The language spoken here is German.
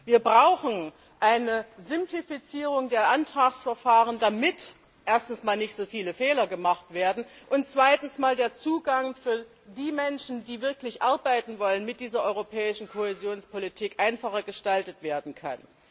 Wir brauchen eine Simplifizierung der Antragsverfahren, damit erstens nicht so viele Fehler gemacht werden, und zweitens der Zugang für die Menschen, die wirklich arbeiten wollen, mit dieser Europäischen Kohäsionspolitik einfacher gestaltet werden kann.